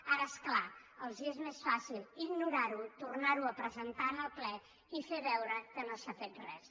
ara és clar els és més fàcil ignorar ho tornar ho a presentar en el ple i fer veure que no s’ha fet res